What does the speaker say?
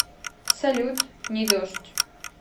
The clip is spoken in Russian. салют не дождь